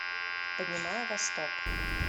поднимаю восток